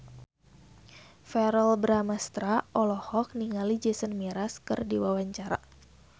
Verrell Bramastra olohok ningali Jason Mraz keur diwawancara